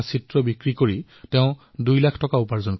এই ভিডিঅ চোৱাৰ পিছত মই তেওঁৰ বিষয়ে অধিক জানিবলৈ উৎসুক হলো